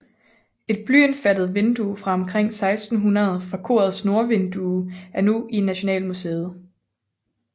Et blyindfattet vindue fra omkring 1600 fra korets nordvindue er nu i Nationalmuseet